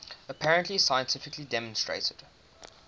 apparently scientifically demonstrated